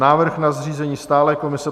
Návrh na zřízení stálé komise